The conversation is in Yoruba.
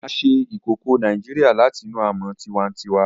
A se ìkòkò Naijiria làtinú amó tiwantiwa